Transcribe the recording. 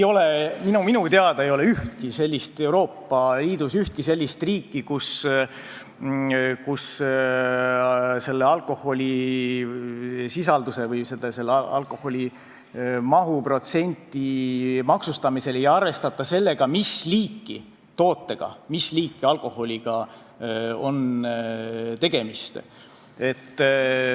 Minu teada ei ole Euroopa Liidus ühtki sellist riiki, kus alkoholisisalduse või alkoholi mahuprotsendi maksustamisel ei arvestata seda, mis liiki tootega, mis liiki alkoholiga on tegemist.